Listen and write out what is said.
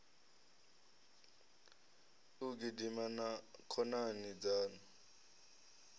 u gidima na khonani dzaṋu